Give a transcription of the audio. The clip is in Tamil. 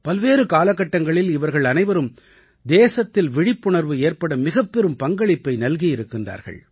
பல்வேறு காலகட்டங்களில் இவர்கள் அனைவரும் தேசத்தில் விழிப்புணர்வு ஏற்பட மிகப்பெரும் பங்களிப்பை நல்கியிருக்கின்றார்கள்